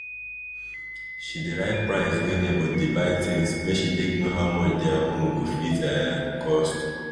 she dey write price wey neighbour dey buy things make she take know how much diir own go fit um cost